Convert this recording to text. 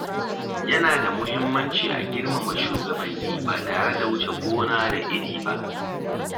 Yana da muhimmanci a girmama shugabanni ba tare da wuce gona da iri ba.